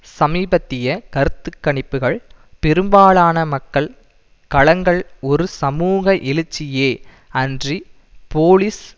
சமீபத்திய கருத்து கணிப்புக்கள் பெரும்பாலான மக்கள் கலங்கள் ஒரு சமூக எழுச்சியே அன்றி போலீஸ்